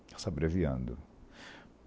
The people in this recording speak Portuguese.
Está se abreviando.